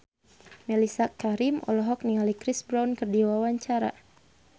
Mellisa Karim olohok ningali Chris Brown keur diwawancara